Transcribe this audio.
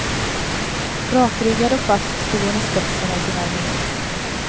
Rakryggad och fast stod hon i spetsen av sin armé.